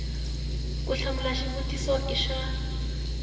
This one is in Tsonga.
ku hlamula xivutiso i swa